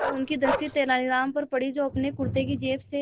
तो उनकी दृष्टि तेनालीराम पर पड़ी जो अपने कुर्ते की जेब से